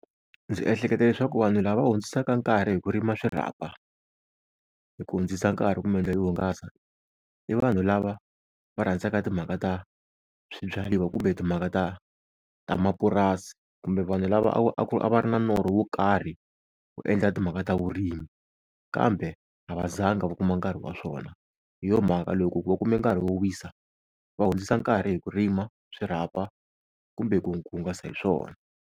Ndzi ehleketa leswaku vanhu lava hundzisaka nkarhi hi ku rima swirhapa, hi ku hundzisa nkarhi kumbe ndlela yo hungasa, i vanhu lava va rhandzaka timhaka ta swibyariwa kumbe timhaka ta ta mapurasi, kumbe vanhu lava a a va ri na norho wo karhi wo endla timhaka ta vurimi kambe a va zanga va kuma nkarhi wa swona. Hi yo mhaka loko va kume nkarhi wo wisa va hundzisa nkarhi hi ku rima swirhapa kumbe ku, ku hungasa hi swona.